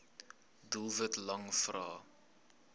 doelwit lang vrae